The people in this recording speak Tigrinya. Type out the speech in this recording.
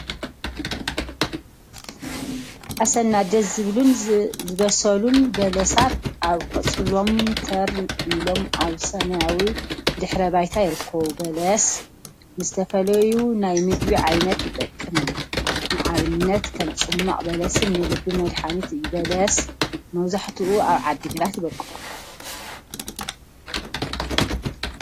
አሰና! ደስ ዝብሉን ዝበሰሉን በለሳት አብ ቆፅሎም ተር ኢሎም አብ ሰማያዊ ድሕረ ባይታ ይርከቡ፡፡ በለስ ንዝተፈላዩ ናይ ምግቢ ዓይነት ይጠቅም እዩ፡፡ ንአብነት ከም ፅሟቅ በለስን ንልቢ መድሓኒትን እዩ፡፡ በለስ መብዛሕትኡ አብ ዓዲ ግራት ይበቁል፡፡